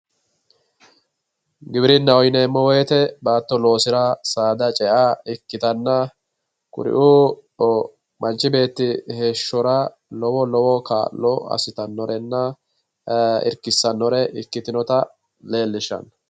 GIwirinnaho yineemmo woyte baatto loosira saada cea ikkittanna kuriu manchi beetti heeshshora lowo lowo kaa'lo assittanorenna irkisanore ikkitinotta leelishano.